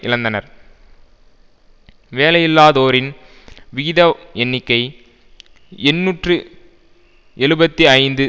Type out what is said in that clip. இழந்தனர் வேலையில்லாதோரின் விகித எண்ணிக்கை எண்ணூற்று எழுபத்து ஐந்து